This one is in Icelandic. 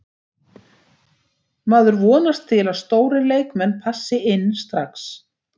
Maður vonast til að stórir leikmenn passi inn strax.